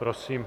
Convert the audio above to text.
Prosím.